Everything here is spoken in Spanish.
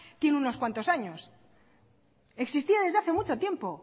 tiene unos cuantos años existía desde hace mucho tiempo